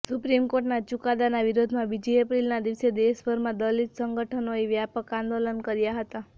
supreme કોર્ટના ચુકાદાના વિરોધમાં બીજી એપ્રિલના દિવસે દશભરમાં દલિત સંગઠનોએ વ્યાપક આંદોલન કર્યા હતા